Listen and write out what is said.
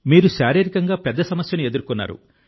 మీరు శారీరకంగా పెద్ద సమస్యను ఎదుర్కొన్నారు